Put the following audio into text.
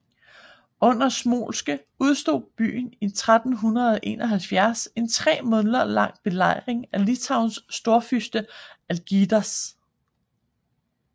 Under Smolensk udstod byen i 1371 en tremåneders lang belejring af Litauens storfyrste Algirdas